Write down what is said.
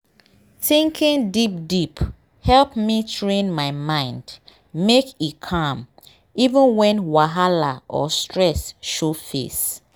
thinking deep deepe help me train my mind make e calm even when whahala or stress show face